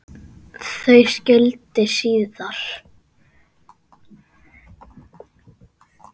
Þau skildi síðar.